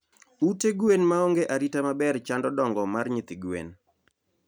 Ute gwen maonge arita maber chando dongo mar nyithi gwen